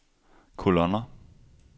kolonner